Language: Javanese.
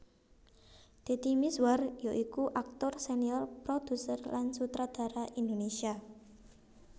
Deddy Mizwar ya iku aktor senior produser lan sutradara Indonesia